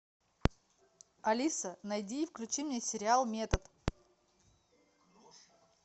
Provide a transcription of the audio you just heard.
алиса найди и включи мне сериал метод